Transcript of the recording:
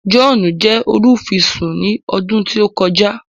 John jẹ olufisun ní ọdún tí o kọjá